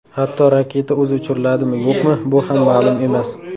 Hatto raketa o‘zi uchiriladimi-yo‘qmi, bu ham ma’lum emas.